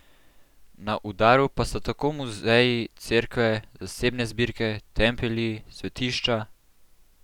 Na udaru pa so tako muzeji, cerkve, zasebne zbirke, templji, svetišča ...